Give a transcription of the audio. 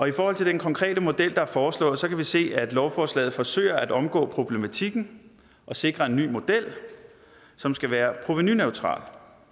i forhold til den konkrete model der er foreslået kan vi se at lovforslaget forsøger at omgå problematikken og sikre en ny model som skal være provenuneutral